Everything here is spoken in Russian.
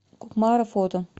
кукмара фото